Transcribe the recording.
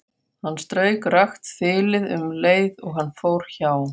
Hann strauk rakt þilið um leið og hann fór hjá.